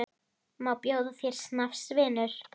Má bjóða þér snafs, vinur?